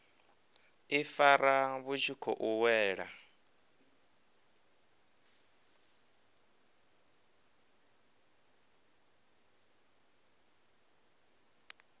ifara vhu tshi khou wela